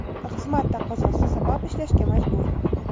xizmat taqozosi sabab ishlashga majbur.